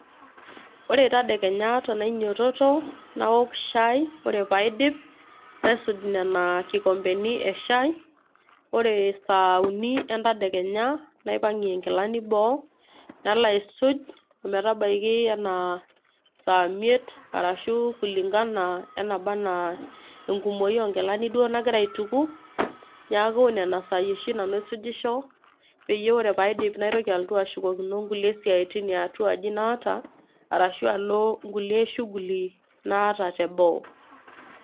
ore tedekenya tenainyitoto, naok shai ore pee aidip, naisuj nena kikompeni eshai, ore saauni entedekenya, naipangie nkilani boo nalo aisuj, ometabaiki anaa saa imiet. arashu kulingana enaba anaa enkumoi oo nkilani duoo nagira aituku. neeku nena saai oshi nanu aisujisho. peyie ore pee aidip naitoki alotu ashukokino nkulie siatin ye atua aji naata. ashu alo nkulie shughuli naata teboo.